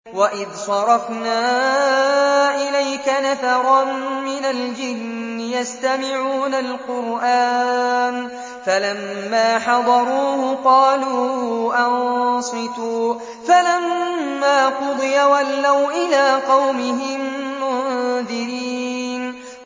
وَإِذْ صَرَفْنَا إِلَيْكَ نَفَرًا مِّنَ الْجِنِّ يَسْتَمِعُونَ الْقُرْآنَ فَلَمَّا حَضَرُوهُ قَالُوا أَنصِتُوا ۖ فَلَمَّا قُضِيَ وَلَّوْا إِلَىٰ قَوْمِهِم مُّنذِرِينَ